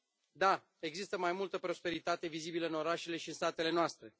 Da, există mai multă prosperitate vizibilă în orașele și satele noastre.